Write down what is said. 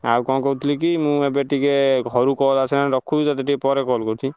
ଆଉ କଣ କହୁଥିଲି କି ମୁଁ ଏବେ ଟିକେ ଘରୁ call ଆସିଲାଣି ରଖୁଛି ତତେ ଟିକେ ପରେ call କରୁଚି।